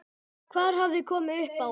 Hvað hafði komið upp á?